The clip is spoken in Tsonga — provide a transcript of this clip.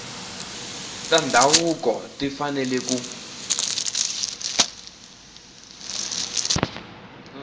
ta ndhavuko ti fanele ku